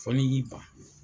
Fɔ n'i y'i ban!